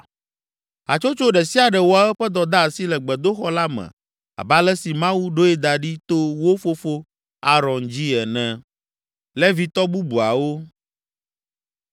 Hatsotso ɖe sia ɖe wɔ eƒe dɔdeasi le gbedoxɔ la me abe ale si Mawu ɖoe da ɖi to wo fofo Aron dzi ene.